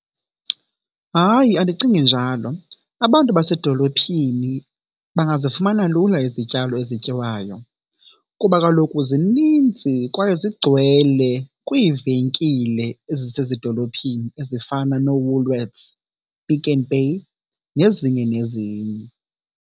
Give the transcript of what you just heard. Hay,i andicingi njalo. Abantu basedolophini bangazifumana lula izityalo ezityiwayo kuba kaloku zininzi kwaye zigcwele kwiivenkile ezisezidolophini ezifana nooWoolworths, Pick n Pay nezinye nezinye.